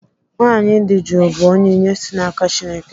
Nwaanyị di jụụ bụ onyinye si n'aka Chineke.